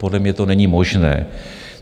Podle mě to není možné.